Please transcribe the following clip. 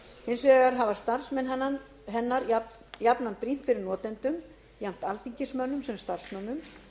hins vegar hafa starfsmenn hennar jafnan brýnt fyrir notendum jafnt alþingismönnum sem starfsmönnum